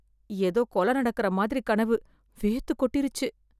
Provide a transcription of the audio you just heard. எதோ கொலை நடக்குற மாதிரி கனவு, வேர்த்து கொட்டிருச்சு.